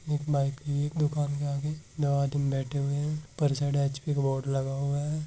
दुकान एक आगे दो आदमी बैठे हुए है ऊपर की साईड बोर्ड लगा हुवा है।